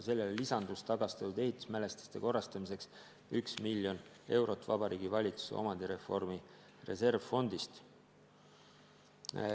Sellele lisandus tagastatud ehitismälestiste korrastamiseks üks miljon eurot Vabariigi Valitsuse omandireformi reservfondist.